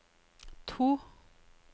to